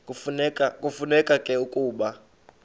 kufuneka ke ukuba